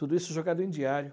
Tudo isso jogado em diário.